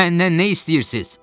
Məndən nə istəyirsiz?